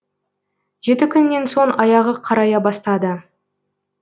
жеті күннен соң аяғы қарая бастады